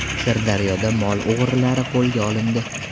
Sirdaryoda mol o‘g‘rilari qo‘lga olindi.